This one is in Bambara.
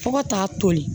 Fo ka taa toli